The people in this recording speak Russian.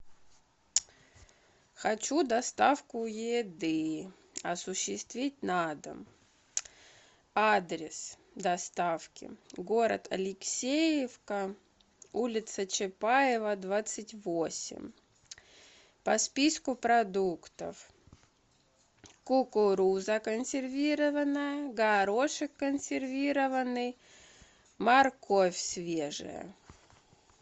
хочу доставку еды осуществить на дом адрес доставки город алексеевка улица чапаева двадцать восемь по списку продуктов кукуруза консервированная горошек консервированный морковь свежая